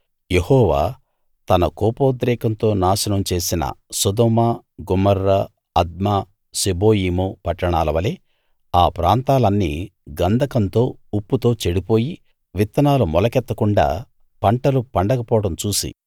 యెహోవా తన కోపోద్రేకంతో నాశనం చేసిన సొదొమ గొమొర్రా అద్మా సెబోయీము పట్టణాలవలె ఆ ప్రాంతాలన్నీ గంధకంతో ఉప్పుతో చెడిపోయి విత్తనాలు మొలకెత్తకుండా పంటలు పండకపోవడం చూసి